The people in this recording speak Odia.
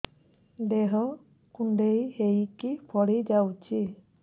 ଦେହ କୁଣ୍ଡେଇ ହେଇକି ଫଳି ଯାଉଛି